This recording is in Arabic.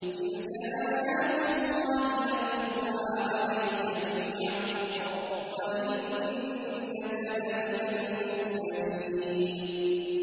تِلْكَ آيَاتُ اللَّهِ نَتْلُوهَا عَلَيْكَ بِالْحَقِّ ۚ وَإِنَّكَ لَمِنَ الْمُرْسَلِينَ